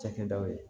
Cakɛdaw ye